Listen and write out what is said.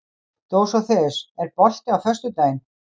Dósóþeus, er bolti á föstudaginn?